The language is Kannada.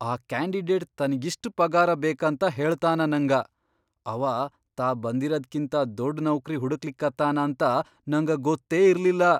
ಆ ಕ್ಯಾಂಡಿಡೇಟ್ ತನ್ಗಿಷ್ಟ್ ಪಗಾರ ಬೇಕಂತ ಹೇಳತನಾ ನಂಗ, ಅವಾ ತಾ ಬಂದಿರದ್ಕಿಂತ ದೊಡ್ ನೌಕ್ರಿ ಹುಡಕ್ಲಿಕತ್ತಾನ ಅಂತ ನಂಗ ಗೊತ್ತೇ ಇರ್ಲಿಲ್ಲಾ.